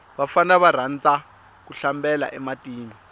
vafana va rhandza ku hlambela e matini